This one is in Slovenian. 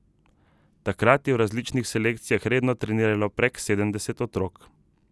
Takrat je v različnih selekcijah redno treniralo prek sedemdeset otrok.